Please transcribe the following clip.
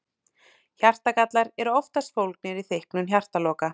Hjartagallar eru oftast fólgnir í þykknun hjartaloka.